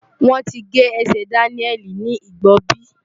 Wọ́n ti gé ẹsẹ̀ Daniel ní Igbobi.